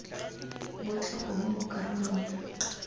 botlhe gongwe mo karolong ya